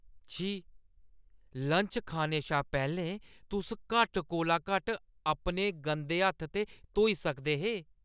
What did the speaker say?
छी! लंच खाने शा पैह्‌लें तुस घट्ट कोला घट्ट अपने गंदे हत्थ ते धोई सकदे हे।